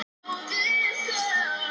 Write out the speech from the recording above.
Stórhríð og hálka er á Þröskuldum